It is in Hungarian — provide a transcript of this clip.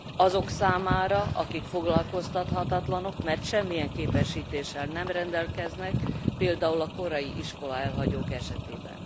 Azok számára, akik foglalkoztathatatlanok, mert semmilyen képesítéssel nem rendelkeznek, például a korai iskolaelhagyók esetében.